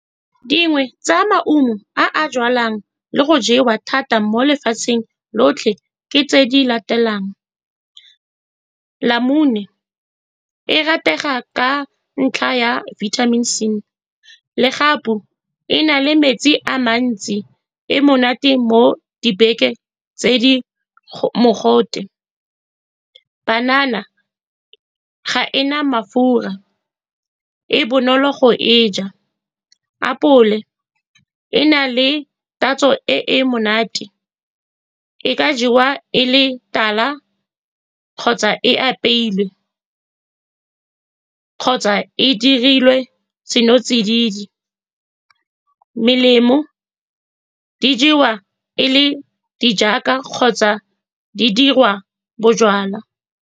Dingwe tsa maungo a a jalwang le go jewa thata mo lefatsheng lotlhe ke tse di latelang, namune e ratega ka ntlha ya vitamin C, legapu le na le metsi a mantsi, le monate mo dibeke tse di mogote, banana ga e na mafura, e bonolo go e ja, apole e na le tatso e e monate, e ka jewa e le tala kgotsa e apeilwe kgotsa e dirilwe seno tsididi. Melemo, di jewa e le di jaaka kgotsa di dirwa bojalwa.